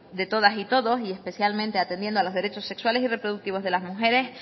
de todas y todos y especialmente atendiendo a los derechos sexuales y reproductivos de las mujeres